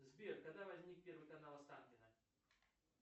сбер когда возник первый канал останкино